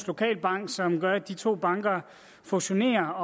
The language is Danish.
lokalbank som gør at de to banker fusionerer